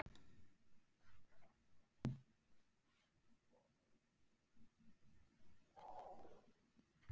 Lögreglukona handtekin með fíkniefni